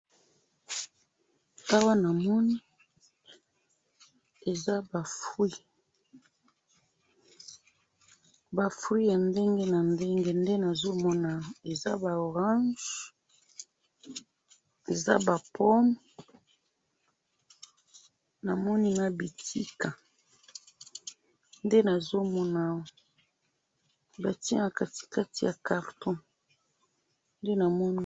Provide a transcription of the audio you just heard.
awa namoni eza ba fruits ,ba fruits ya ndenge na ndenge nde nazomona awa eza ba orange eza ba pomme namoni na bitika nde nazomona awa batiye na katikati ya carton nde namoni